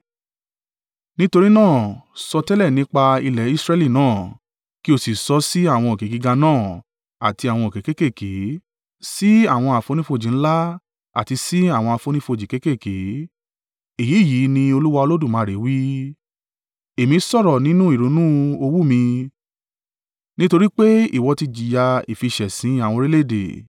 Nítorí náà, sọtẹ́lẹ̀ nípa ilẹ̀ Israẹli náà kí o sì sọ sí àwọn òkè gíga náà àti àwọn òkè kéékèèké, sí àwọn àfonífojì ńlá àti sí àwọn àfonífojì kéékèèké, ‘Èyí yìí ni Olúwa Olódùmarè wí: Èmi sọ̀rọ̀ nínú ìrunú owú mi nítorí pé ìwọ ti jìyà ìfiṣẹ̀sín àwọn orílẹ̀-èdè.